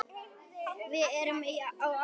Við erum á áætlun.